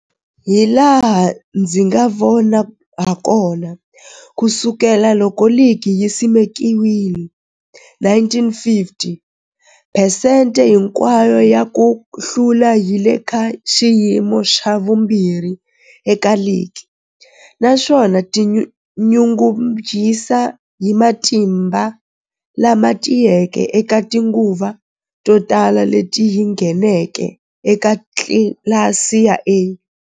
Hilaha ndzi nga vona hakona, ku sukela loko ligi yi simekiwile 1950, phesente hinkwayo ya ku hlula yi le ka xiyimo xa vumbirhi eka ligi, naswona yi tinyungubyisa hi matimba lama tiyeke eka tinguva to tala leti yi ngheneke eka tlilasi ya A.